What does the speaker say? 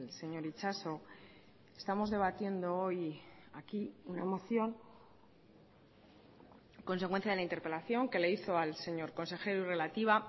señor itxaso estamos debatiendo hoy aquí una moción consecuencia de la interpelación que le hizo al señor consejero y relativa a